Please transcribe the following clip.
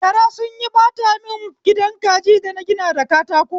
Gara sunyi ɓata mun gidan kaji dana gina da katako